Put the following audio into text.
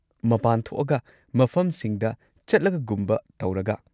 ꯃꯄꯥꯟ ꯊꯣꯛꯑꯒ, ꯃꯐꯝꯁꯤꯡꯗ ꯆꯠꯂꯒꯒꯨꯝꯕ ꯇꯧꯔꯒ꯫